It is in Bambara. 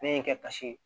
Ne ye n kɛ kasi ye